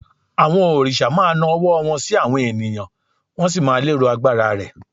àwọn òrìṣà ma na ọwọ́ wan sí àwọn ènìyàn, wọn sì má lero agbara rẹ